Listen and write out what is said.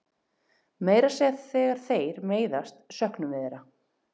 Meira að segja þegar þeir meiðast söknum við þeirra.